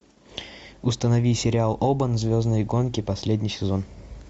установи сериал обан звездные гонки последний сезон